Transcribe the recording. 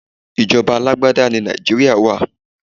Ìjọba alágbádá ní Nàìjíríà wá.